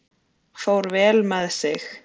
Fór vel með sig.